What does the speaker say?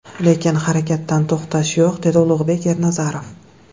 Lekin harakatdan to‘xtash yo‘q”, dedi Ulug‘bek Ernazarov.